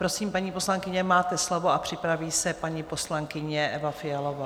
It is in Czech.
Prosím, paní poslankyně, máte slovo, a připraví se paní poslankyně Eva Fialová.